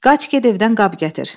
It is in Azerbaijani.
Qaç get evdən qab gətir.